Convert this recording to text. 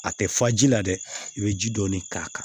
A tɛ fa ji la dɛ i bɛ ji dɔɔni k'a kan